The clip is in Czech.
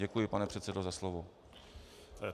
Děkuji, pane předsedo, za slovo.